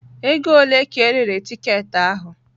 Ego ole ka erere tiketi ahụ?